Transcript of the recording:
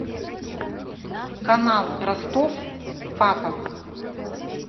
канал ростов папа